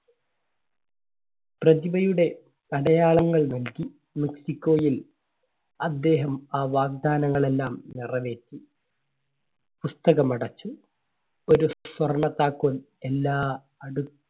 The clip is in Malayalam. പ്രതിഭയുടെ അടയാളങ്ങൾ നോക്കി മെക്സിക്കോയിൽ അദ്ദേഹം ആ വാഗ്ദാനങ്ങൾ എല്ലാം നിറവേറ്റി. പുസ്തകം അടച്ചു. ഒരു സ്വ~സ്വർണ്ണ താക്കോൽ എല്ലാ അടു